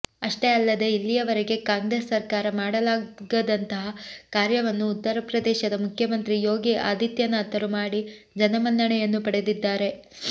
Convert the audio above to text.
ಅಷ್ಟೇ ಅಲ್ಲದೇ ಇಲ್ಲಿಯವರೆಗೆ ಕಾಂಗ್ರೆಸ್ ಸರ್ಕಾರ ಮಾಡಲಾಗದಂತಹ ಕಾರ್ಯವನ್ನು ಉತ್ತರ ಪ್ರದೇಶದ ಮುಖ್ಯಮಂತ್ರಿ ಯೋಗಿ ಆದಿತ್ಯನಾಥರು ಮಾಡಿ ಜನಮನ್ನಣೆಯನ್ನೂ ಪಡೆದಿದ್ದಾರೆ